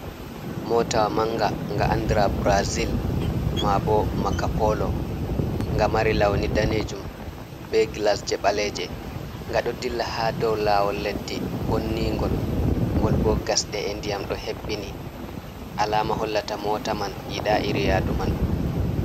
Mota manga nga andira burazil, ma bo maka polo, nga mari lawni danejum be gilasji ɓaleji nga do dilla ha dow lawol leddi bonningol ngol bo gasɗe, e ndiyam ɗo hebbini alama hollata mota man yiɗa iri yadu manɗo.